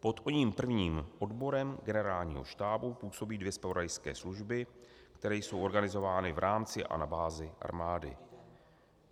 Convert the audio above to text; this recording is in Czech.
Pod oním prvním odborem Generálního štábu působí dvě zpravodajské služby, které jsou organizovány v rámci a na bázi armády.